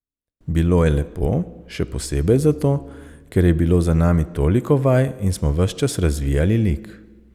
Bilo je lepo, še posebej zato, ker je bilo za nami toliko vaj in smo ves čas razvijali lik.